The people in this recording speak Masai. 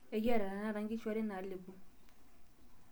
Ekiata tenakata nkishu are naalepo.